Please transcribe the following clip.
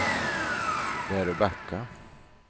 Väröbacka